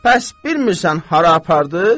Bəs bilmirsən hara apardı?